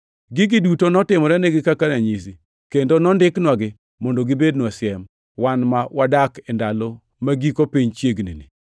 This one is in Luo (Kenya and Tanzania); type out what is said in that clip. Gigi duto notimorenigi kaka ranyisi, kendo nondiknwagi mondo gibednwa siem, wan ma wadak e ndalo ma giko piny chiegnini.